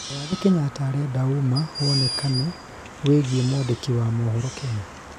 mũgathe Kenyatta arenda ũma wonekane wĩgiĩ mwandĩki wa mohoro Kenya